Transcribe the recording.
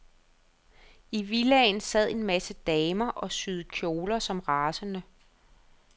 I villaen sad en masse damer og syede kjoler som rasende.